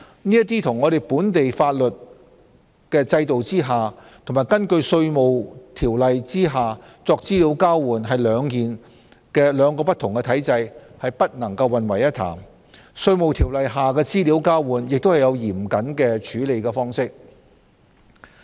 這與在本地法律制度下及根據《稅務條例》所作的資料交換，屬兩個不同體制，不能混為一談，而《稅務條例》下的資料交換亦有嚴謹的處理方式。